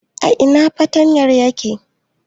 A ina fartanyan yake?